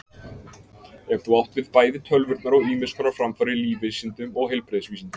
Er þá átt við bæði tölvurnar og ýmiss konar framfarir í lífvísindum og heilbrigðisvísindum.